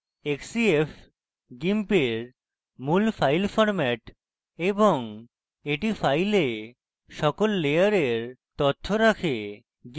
xcf gimp মূল file format এবং এটি file সকল layers তথ্য রাখে